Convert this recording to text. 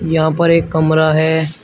यहां पर एक कमरा है।